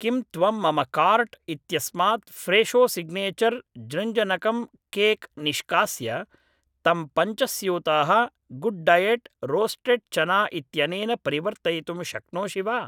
किं त्वं मम काार्ट् इत्यस्मात् फ्रेशो सिग्नेचर् जृञ्जनकं केक् निष्कास्य तं पञ्च स्यूताः गुड्डैयेट् रोस्टेड् चना इत्यनेन परिवर्तयितुं शक्नोषि वा